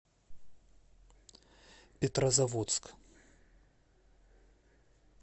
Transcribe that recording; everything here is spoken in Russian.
петрозаводск